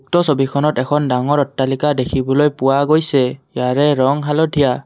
উক্ত ছবিখনত এখন ডাঙৰ অট্টালিকা দেখিবলৈ পোৱা গৈছে ইয়াৰে ৰং হালধীয়া।